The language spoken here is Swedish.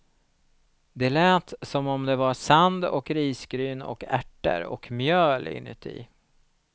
Det lät som om det var sand och risgryn och ärtor och mjöl inuti.